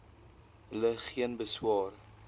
hulle geen beswaar